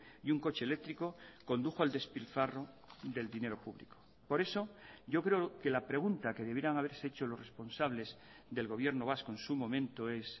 y un coche eléctrico condujo el despilfarro del dinero público por eso yo creo que la pregunta que debieran haberse hecho los responsables del gobierno vasco en su momento es